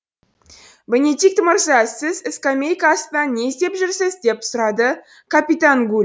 бенедикт мырза сіз скамейка астынан не іздеп жүрсіз деп сұрады капитан гуль